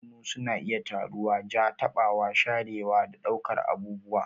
Hannu suna iya turawa, ja, taɓawa, sharewa, da ɗaukar abubuwa.